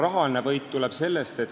Rahaline võit tuleb hiljem.